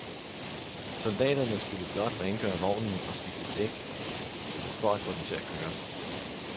Soldaterne skulle blot rengøre vognen og skifte et dæk for at få den til at køre.